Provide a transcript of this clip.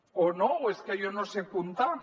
o no o és que jo no sé comptar